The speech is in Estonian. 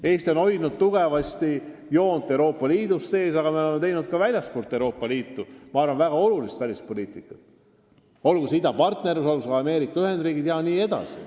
Eesti on hoidnud kindlat joont Euroopa Liidu sees, aga me oleme teinud väga olulist välispoliitikat ka väljaspool Euroopa Liitu – olgu see idapartnerlus, olgu see USA jne.